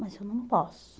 Mas eu não posso.